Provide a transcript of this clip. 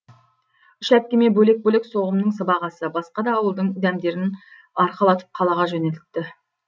үш әпкеме бөлек бөлек соғымның сыбағасы басқа да ауылдың дәмдерін арқалатып қалаға жөнелтті